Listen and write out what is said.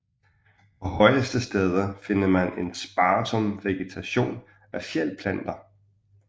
På højeste steder finder man en sparsom vegetation af fjeldplanter